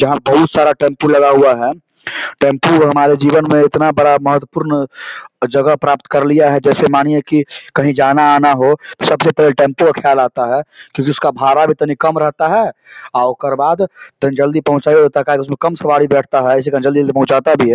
जहां बहुत सारा टेम्पो लगा हुआ है टेंपू हमारे जीवन मे उतना बड़ा महत्वपूर्ण जगह प्राप्त कर लिया है जैसे मानिये की कही जाना आना हो तो सबसे पहले टेंपू का ख्याल आता है क्योंकि उसका भाड़ा तनि कम रहता है ओकर बाद जल्दी-जल्दी पंहुचाता भी क्युकी कम सवारी बैठता है जल्दी से पंहुचाता भी है।